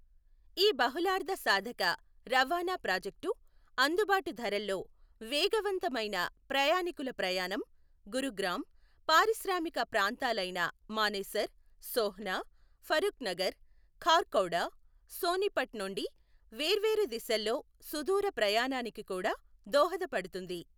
ఈ బహుళార్ధసాధక రవాణా ప్రాజెక్టు అందుబాటు ధరల్లో వేగవంతమైన ప్రయాణికుల ప్రయాణం, గురుగ్రామ్, పారిశ్రామిక ప్రాంతాలైన మానేసర్, సోహ్నా, ఫరూఖ్ నగర్, ఖార్ఖౌడా సోనిపట్ నుండి వేర్వేరు దిశల్లో సుదూర ప్రయాణానికి కూడా దోహదపడుతుంది.